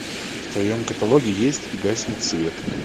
в твоем каталоге есть и гаснет свет